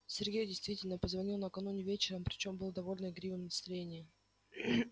сергей действительно позвонил накануне вечером причём был в довольно игривом настроении